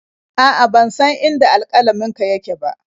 A'a, ban san inda alƙalaminka yake ba.